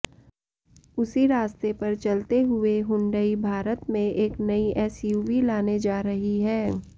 उसी रास्ते पर चलते हुए हुंडई भारत में एक नई एसयूवी लाने जा रही है